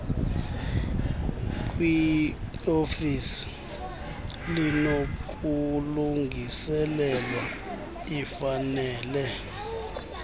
kwiofisi linokulungiselelwa lifanele